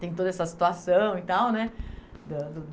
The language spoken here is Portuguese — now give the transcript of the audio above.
Tem toda essa situação e tal, né? Da do